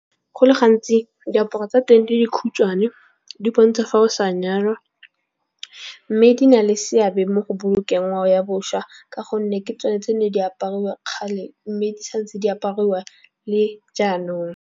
Go le gantsi diaparo tsa teng di dikhutshwane di bontsha fa o sa nyalwa. Mme di na le seabe mo go bolokeng ngwao ya boswa. Ka gonne ke tsone tse ne di apariwa kgale. Mme di sa ntse di apariwa le jaanong.